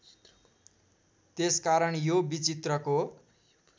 त्यसकारण यो विचित्रको